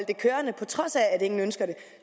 det kørende på trods af at ingen ønsker det